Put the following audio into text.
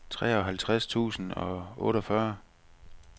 treoghalvtreds tusind og otteogfyrre